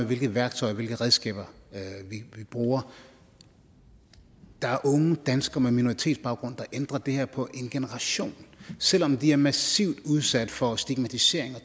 hvilke værktøjer hvilke redskaber vi bruger der er unge danskere med minoritetsbaggrund der ændrer det her på en generation selv om de er massivt udsat for stigmatisering og